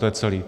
To je celé.